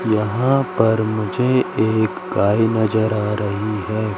यहां पर मुझे एक गाय नजर आ रही है।